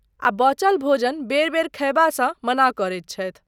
आ बचल भोजन बेर बेर खयबासँ मना करैत छथि।